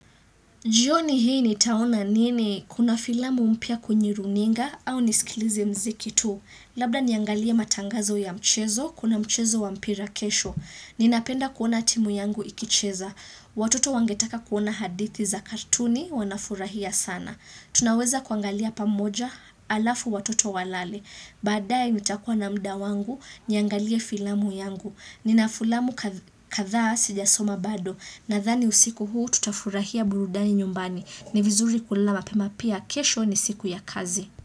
Jioni hii nitaona nini? Kuna filamu mpya kunywe runinga au nisikilize mziki tu. Labda niangalia matangazo ya mchezo, kuna mchezo wa mpira kesho. Ninapenda kuona timu yangu ikicheza. Watoto wangetaka kuona hadithi za kartuni wanafurahia sana. Tunaweza kuangalia pamoja alafu watoto walale. Baadae nitakua na muda wangu niangalia filamu yangu. Nina filamu kadha sijasoma bado. Nadhani usiku huu tutafurahia burudani nyumbani. Ni vizuri kulala mapema pia kesho ni siku ya kazi.